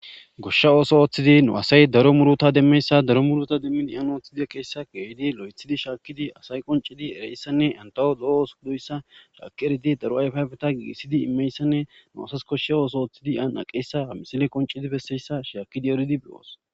Goshsha ootho ooththidi nu asay daro muuruta demmiyayssa daro muuruta demmi aani oothidi aqqiyayssa geeyidi loythidi shaakidi eridi daro ayfaayfeta giigissidi immiyayssa nu asay bessiyayssa shaakidi eridi doos.